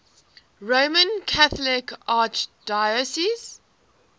roman catholic archdiocese